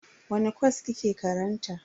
Wani kwas kike karanta?